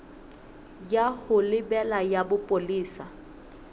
ya ho lebela ya bopolesa